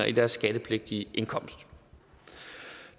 i deres skattepligtige indkomst